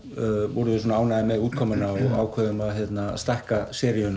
vorum við svo ánægðir með útkomuna að við ákváðum að stækka